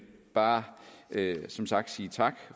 bare som sagt sige tak